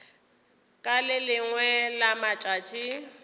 ka le lengwe la matšatši